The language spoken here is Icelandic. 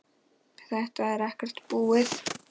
Þetta er ekkert búið.